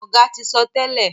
Oga tí sọ tèlé.